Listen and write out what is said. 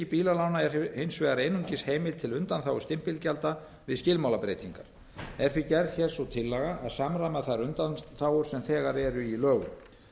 bílalána er hins vegar einungis heimild til undanþágu stimpilgjalda við skilmálabreytingar er því gerð hér sú tillaga um að samræma þær undanþágur sem þegar eru í lögum